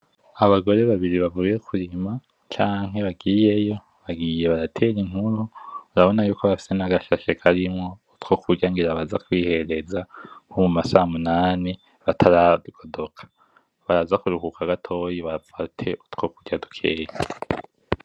Abagore babiri bavuye kurima, canke bagiyeyo. Bagiye baratera inkuru. Urabona yuko bafise nagashashe karimwo utwo kurya ngira baraza kwihereza, nko muma samunani, bataragodoka. Baraza kuruhuka gatoyi bafate utwo kurya dukeyi.